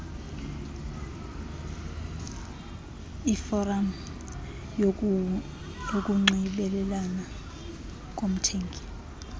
iforam yokunxibelelana komthengi